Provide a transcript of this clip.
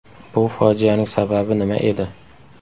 Bu fojianing sababi nima edi?